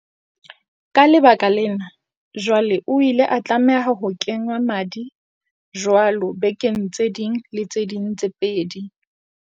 Ka lebaka lena, jwale o ile a tlameha ho kengwa madi jwalo bekeng tse ding le tse ding tse pedi.